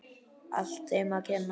Allt þeim að kenna.!